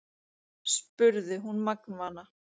spurði hún magnvana.